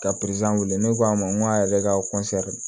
Ka wele ne ko a ma n ko a yɛrɛ ka